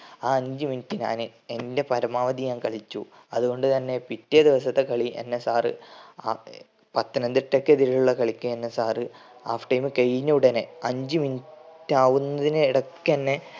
ആ അഞ്ചു minute ഞാൻ എന്റെ പരമാവധി ഞാൻ കളിച്ചു. അത്കൊണ്ട് തന്നെ പിറ്റേ ദിവസത്തെ കള എന്നെ sir അഹ് പത്തനംതിട്ടക്കെതിരെയുള്ള കളിക്ക് എന്നെ sir half time കൈന ഉടനെ അഞ്ചു minute ആവുന്നതിന് ഇടക്കന്നെ